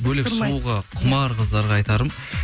бөлек шығуға құмар қыздарға айтарым